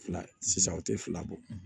Fila sisan o tɛ fila bɔ